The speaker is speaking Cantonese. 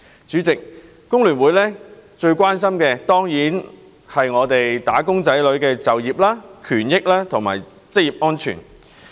主席，香港工會聯合會最關心的當然是"打工仔女"的就業、權益和職業安全。